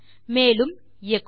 மேலும் எச்சோ